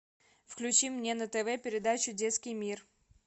включи мне на тв передачу детский мир